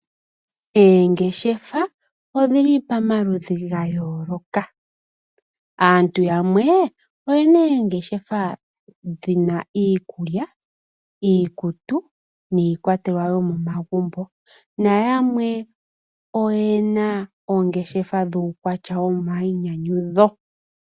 Oongeshefa odhili pamaludhi ga yoloka aantu yamwe oyena oongeshefa dhina iikulya, iikutu niikwatelwa yomomagumbo nayamwe oyena oongeshefa dhu kwatya womainyanyudho.